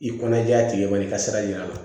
I kɔnɔ diya tigi ma i ka sira ɲana